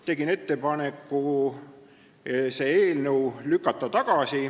Tegin ettepaneku see eelnõu tagasi lükata.